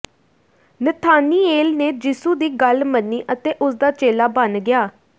Nathaniel ਨੇ ਯਿਸੂ ਦੀ ਗੱਲ ਮੰਨੀ ਅਤੇ ਉਸਦਾ ਚੇਲਾ ਬਣ ਗਿਆ